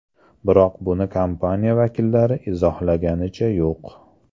Biroq buni kompaniya vakillari izohlaganicha yo‘q.